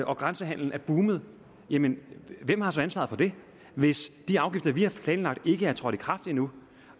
og at grænsehandelen er boomet jamen hvem har så ansvaret for det hvis de afgifter vi har planlagt ikke er trådt i kraft endnu